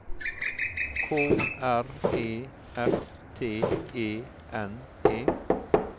K R E F T E N E